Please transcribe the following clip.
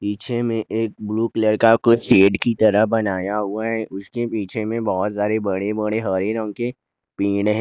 पीछे में एक ब्लू कलर का कुछ शेड की तरह बनाया हुआ है उसके पीछे मैं बहुत सारे बड़े बड़े हरे रंग के पेड़ हैं।